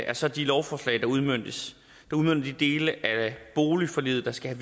er så de lovforslag der udmønter de dele af boligforliget der skal